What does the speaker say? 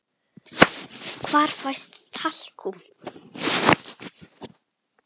Hvar fæst talkúm?